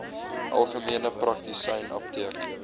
algemene praktisyn apteek